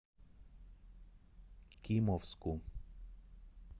кимовску